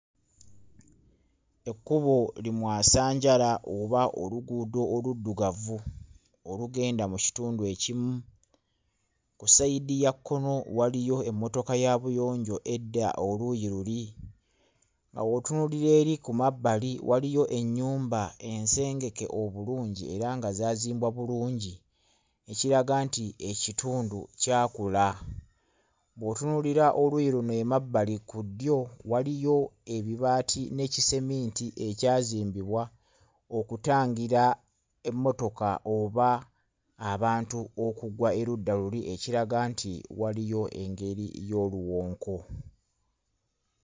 Ekkubo limwasanjala oba oluguudo oluddugavu olugenda mu kitundu ekimu. Ku sayidi ya kkono waliyo emmotoka ya buyonjo edda oluuyi luli. Bw'otunuulira eri ku mabbali waliyo ennyumba ensengeke obulungi era nga zaazimbwa bulungi, ekiraga nti ekitundu kyakula. Bw'otunuulira oluuyi luno emabbali ku ddyo waliwo ebibaati n'ekiseminti ekyazimbibwa okutangira emmotoka oba abantu okugwa erudda luli, ekiraga nti waliyo engeri y'oluwonko.